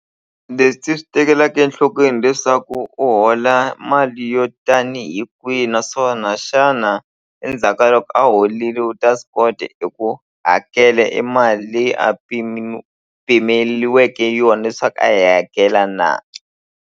Leswi ti swi tekelaka enhlokweni hileswaku u hola mali yo tanihi kwihi naswona xana endzhaka loko a holile u ta swi kota eku hakela e mali leyi a pimeliwe yona leswaku a yi hakela na.